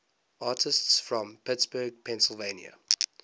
artists from pittsburgh pennsylvania